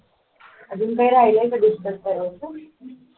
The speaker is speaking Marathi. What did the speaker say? अजून काही राहिले का discuss करायचं